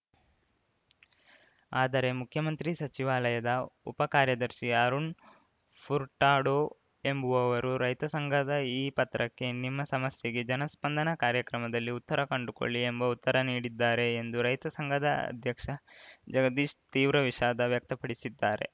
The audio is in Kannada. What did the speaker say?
ಆದರೆ ಮುಖ್ಯಮಂತ್ರಿ ಸಚಿವಾಲಯದ ಉಪ ಕಾರ್ಯದರ್ಶಿ ಅರುಣ್‌ ಫುರ್ಟಾಡೋ ಎಂಬುವವರು ರೈತ ಸಂಘದ ಈ ಪತ್ರಕ್ಕೆ ನಿಮ್ಮ ಸಮಸ್ಯೆಗೆ ಜನಸ್ಪಂದನ ಕಾರ್ಯಕ್ರಮದಲ್ಲಿ ಉತ್ತರ ಕಂಡುಕೊಳ್ಳಿ ಎಂಬ ಉತ್ತರ ನೀಡಿದ್ದಾರೆ ಎಂದು ರೈತ ಸಂಘದ ಅಧ್ಯಕ್ಷ ಜಗದೀಶ್‌ ತೀವ್ರ ವಿಷಾದ ವ್ಯಕ್ತಪಡಿಸಿದ್ದಾರೆ